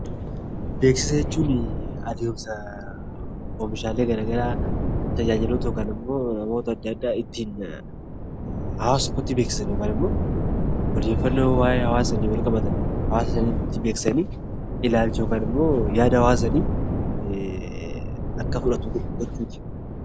Beeksisa jechuun adeemsa oomishaalee garaagaraa tajaajiloota yookaan immoo hawaasa tokkotti beeksisan yookaan immoo odeeffannoo waa'ee wal qabatan beeksisanii yaada hawaasa sanii akka fudhatu gochuuti.